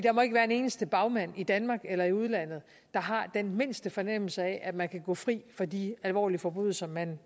må ikke være en eneste bagmand i danmark eller i udlandet der har den mindste fornemmelse af at man kan gå fri for de alvorlige forbrydelser man